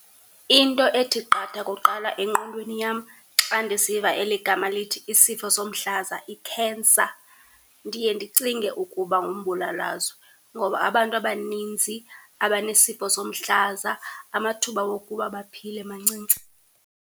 Into ethi qatha kuqala engqondweni yam xa ndisiva eli gama lithi isifo somhlaza, ikhensa ndiye ndicinge ukuba ngumbulalazwe ngoba abantu abanintsi abanesifo somhlaza amathuba wokuba baphile mancinci.